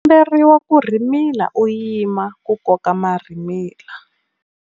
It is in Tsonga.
U komberiwa ku rhimila u yima ku koka marhimila.